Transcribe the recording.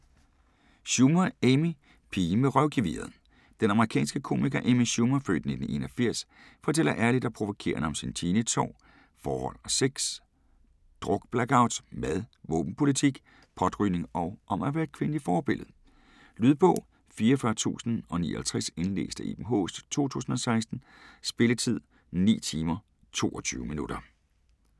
Schumer, Amy: Pigen med røvgeviret Den amerikanske komiker Amy Schumer (f. 1981) fortæller ærligt og provokerende om sine teenageår, forhold og sex, drukblackouts, mad, våbenpolitik, potrygning og om at være et kvindeligt forbillede. Lydbog 44059 Indlæst af Iben Haaest, 2016. Spilletid: 9 timer, 22 minutter.